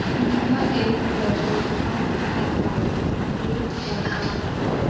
यह एक petrol pump दिखाई दे रहा है।